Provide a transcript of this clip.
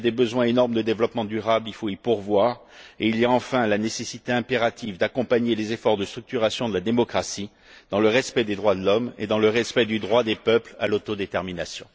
Il y a des besoins énormes en développement durable il faut y pourvoir. Il y a enfin la nécessité impérieuse d'accompagner les efforts de structuration de la démocratie, dans le respect des droits de l'homme et dans le respect du droit des peuples à l'autodétermination.